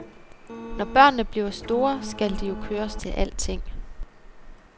Når børnene bliver store, skal de jo køres til alting.